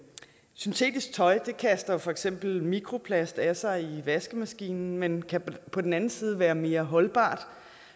syntetisk tøj kaster for eksempel mikroplast af sig i vaskemaskinen men kan på den anden side være mere holdbart